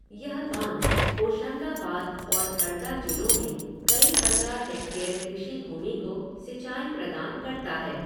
यह बाँध होशंगाबाद और हरदा जिलों में कई हजार हेक्टेयर कृषि भूमि को सिंचाई प्रदान करता है।